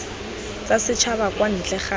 tsa setšhaba kwa ntle ga